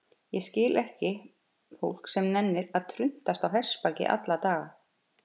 Ég skil ekki fólk sem nennir að truntast á hestbaki alla daga.